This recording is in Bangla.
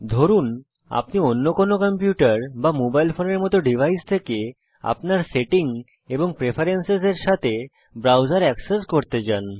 ধরুন আপনি অন্য কোনো কম্পিউটার বা মোবাইল ফোনের মত ডিভাইস থেকে আপনার সেটিং এবং প্রেফেরেন্সেসের সাথে ব্রাউজার অ্যাক্সেস করতে চান